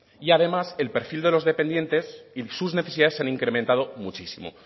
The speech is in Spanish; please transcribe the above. y además el perfil de los dependientes y sus necesidades se han incrementado muchísimo